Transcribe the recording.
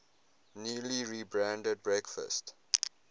newly rebranded breakfast